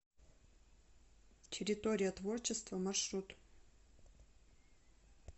территория творчества маршрут